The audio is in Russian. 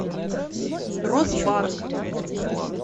росбанк